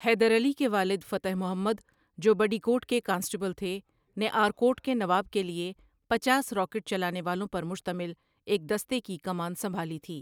حیدر علی کے والد فتح محمد، جو بڈیکوٹ کے کانسٹیبل تھے، نے آرکوٹ کے نواب کے لیے پچاس راکٹ چلانے والوں پر مشتمل ایک دستے کی کمان سنبھالی تھی۔